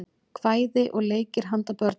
kvæði og leikir handa börnum